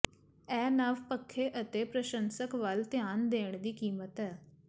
ਇਹ ਨਵ ਪੱਖੇ ਅਤੇ ਪ੍ਰਸ਼ੰਸਕ ਵੱਲ ਧਿਆਨ ਦੇਣ ਦੀ ਕੀਮਤ ਹੈ